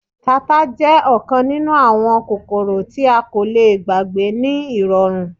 Tata jẹ ọkan ninu awọn kokoro ti a ko le gbagbe ni irọrun